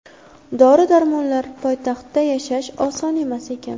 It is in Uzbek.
Dori-darmonlar, poytaxtda yashash oson emas ekan.